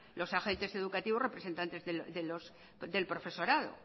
los agentes educativos representantes del profesorado